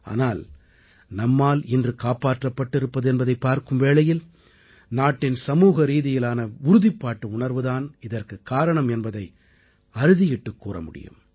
ஆனால் நம்மால் இன்று காப்பாற்றப்பட்டிருப்பது என்பதைப் பார்க்கும் வேளையில் நாட்டின் சமூகரீதியிலான உறுதிப்பாட்டுணர்வு தான் இதற்குக் காரணம் என்பதை அறுதியிட்டுக் கூற முடியும்